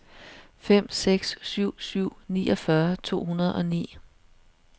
fem seks syv syv niogfyrre to hundrede og ni